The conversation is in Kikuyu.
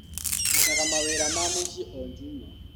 Ndutaga mawĩra ma mũci o njuma.